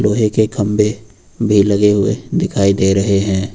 एक एक खंबे भी लगे हुए दिखाई दे रहे हैं।